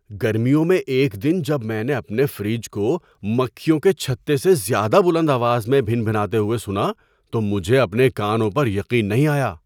گرمیوں میں ایک دن جب میں نے اپنے فریج کو مکھیوں کے چھتے سے زیادہ بلند آواز میں بھنبھناتے ہوئے سنا تو مجھے اپنے کانوں پر یقین نہیں آیا!